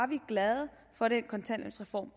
vi glade for den kontanthjælpsreform